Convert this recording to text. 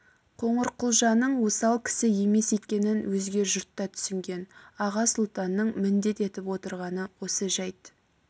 қоңырқұлжаның осал кісі емес екенін өзге жұрт та түсінген аға сұлтанның міндет етіп отырғаны осы жайт